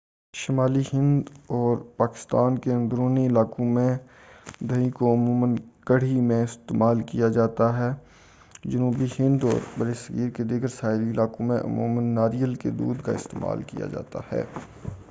شمالی ہند اور پاکستان کے اندرونی علاقوں میں دہی کو عموماً کڑھی میں استعمال کیا جاتا ہے جنوبی ہند اور برصغیر کے دیگر ساحلی علاقوں میں عموماً ناریل کا دودھ استعمال کیا جاتا ہے